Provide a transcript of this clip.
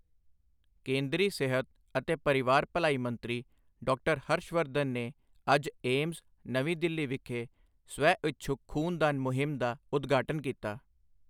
ਕੇਂਦਰੀ ਸਿਹਤ ਅਤੇ ਪਰਿਵਾਰ ਭਲਾਈ ਮੰਤਰੀ, ਡਾ. ਹਰਸ਼ ਵਰਧਨ ਨੇ ਅੱਜ ਏਮਸ, ਨਵੀਂ ਦਿੱਲੀ ਵਿਖੇ ਸਵੈਇਛੁੱਕ ਖੂਨ ਦਾਨ ਮੁਹਿੰਮ ਦਾ ਉਦਘਾਟਨ ਕੀਤਾ।